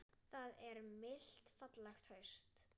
Það er milt fallegt haust.